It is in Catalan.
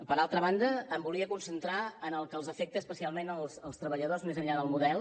per altra banda em volia concentrar en el que afecta especialment els treballadors més enllà del model